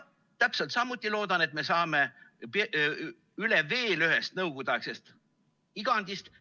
Täpselt samuti loodan, et me saame üle veel ühest nõukogudeaegsest igandist.